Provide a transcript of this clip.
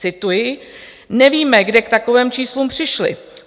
Cituji: Nevíme, kde k takovým číslům přišli.